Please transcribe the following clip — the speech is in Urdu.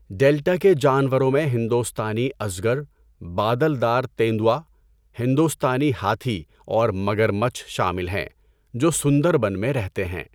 ڈیلٹا کے جانوروں میں ہندوستانی ازگر، بادل دار تیندوا، ہندوستانی ہاتھی اور مگرمچھ شامل ہیں، جو سندربن میں رہتے ہیں۔